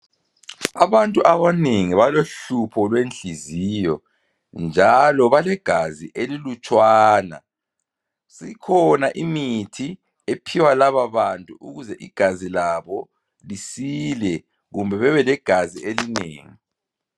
Abantu abanengi balohlupho lwenhliziyo njalo balegazi elilutshwana, sikhona imithi ephiwa lababantu ukuze igazi labo lisile kumbe bebelegazi elinengi